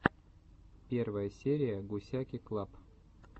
первая серия гусяки клаб